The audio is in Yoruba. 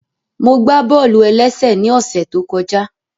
Mo gbá bọ́ọ̀lù-ẹlẹ́sẹ̀ ní ọ̀ṣẹ̀ tó kọjá